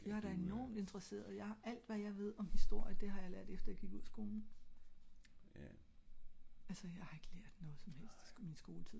jeg er da enormt interesseret jeg har alt hvad jeg ved om historie det har jeg lært efter jeg gik ud af skolen altså jeg har ik lært noget som helst in min skoletid